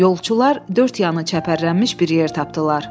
Yolçular dörd yanı çəpərlənmiş bir yer tapdılar.